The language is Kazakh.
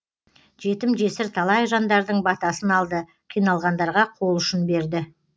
жетім жесір талай жандардың батасын алды қиналғандарға қол ұшын берді